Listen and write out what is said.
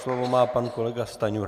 Slovo má pan kolega Stanjura.